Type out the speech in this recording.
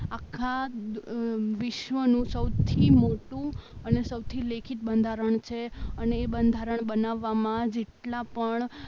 આખા વિશ્વનું સૌથી મોટું અને સૌથી લેખિત બંધારણ છે અને એ બંધારણ બનાવવામાં જેટલા પણ